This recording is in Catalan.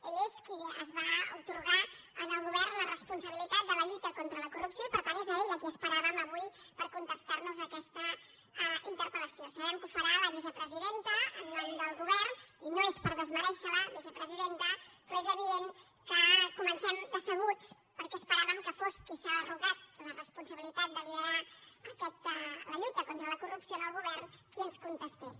ell és qui es va atorgar en el govern la responsabilitat de la lluita contra la corrupció i per tant és a ell a qui esperàvem avui per contestar nos aquesta interpel·farà la vicepresidenta en nom del govern i no és per desmerèixer la vicepresidenta però és evident que comencem decebuts perquè esperàvem que fos qui s’ha atorgat la responsabilitat de liderar la lluita contra la corrupció en el govern qui ens contestés